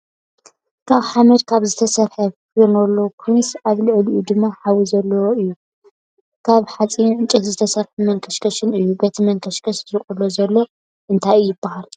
ካበ ሓመድ ካብ ዝተሰረሓ ፌርኖሎኮንዩ ኣብ ልዕሊኡ ድማ ሓዊ ዘለዎ እዩ ካብ ሓፂንን ዕንጨይትን ዝተሰርሐ መንከሽከሽእ እዩ። በቲ መንከሽከሽ ዝቅሎ ዘሎ እንታይ ይብሃል?